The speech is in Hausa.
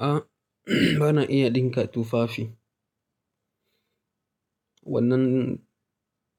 A'a, bana iya dinka tufafi. Wannan